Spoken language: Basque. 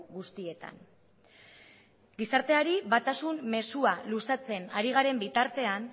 guztietan gizarteari batasun mezua luzatzen ari garen bitartean